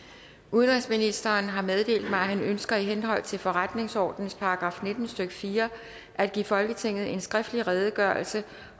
udenrigsministeren har meddelt mig at han ønsker i henhold til forretningsordenens § nitten stykke fire at give folketinget en skriftlig redegørelse